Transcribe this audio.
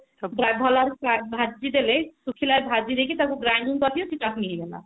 ଭଲ ଭାବରେ ଭାଜି ଦେଲେ ଶୁଖିଲାରେ ଭାଜି ଦେଇକି ତାକୁ granning କରି ଦିଅ ସେ ଚଟଣି ହେଇଗଲା